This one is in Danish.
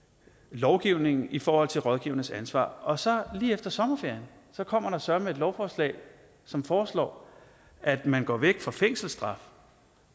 lovgivningen i forhold til rådgivernes ansvar og så lige efter sommerferien kommer der søreme et lovforslag som foreslår at man går væk fra fængselsstraf